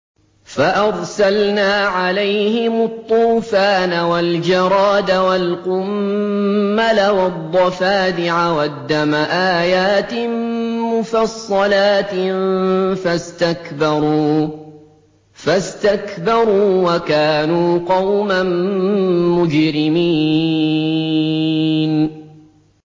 فَأَرْسَلْنَا عَلَيْهِمُ الطُّوفَانَ وَالْجَرَادَ وَالْقُمَّلَ وَالضَّفَادِعَ وَالدَّمَ آيَاتٍ مُّفَصَّلَاتٍ فَاسْتَكْبَرُوا وَكَانُوا قَوْمًا مُّجْرِمِينَ